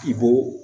I b'o